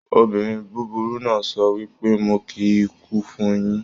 Obìnrin búburú náà sọ wípé "Mo kí ikú fun yín"